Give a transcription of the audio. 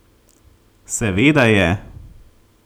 Seveda je!